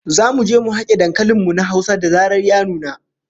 Zamu je mu hake dankalin mu na Hausa da zarar ya nuna